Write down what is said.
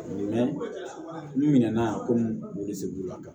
n'u ɲinɛ na yan ko se b'u la ka